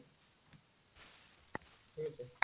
ଠିକଅଛି